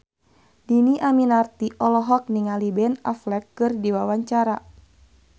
Dhini Aminarti olohok ningali Ben Affleck keur diwawancara